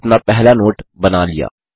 हमने अपना पहला नोट बना लिया